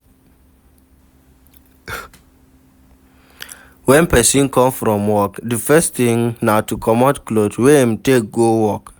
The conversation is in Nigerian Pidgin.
When person come from work di first thing na to comot cloth wey im take go work